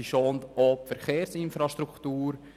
Sie schont auch die Verkehrsinfrastruktur.